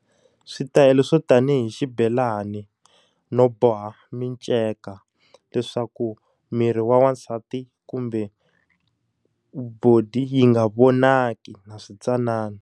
Switayela swo tanihi xibelani, no boha minceka leswaku miri wa wansati kumbe body yi nga vonaki na swintsanana.